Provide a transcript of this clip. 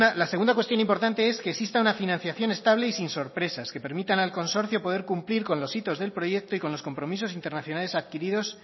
la segunda cuestión importante es que exista una financiación estable y sin sorpresas que permitan al consorcio poder cumplir con los hitos del proyecto y con los compromisos internacionales adquiridos